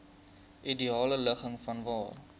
ideale ligging vanwaar